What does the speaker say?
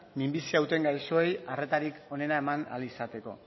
minbizia duten gaixoei arretarik onena eman ahal izateko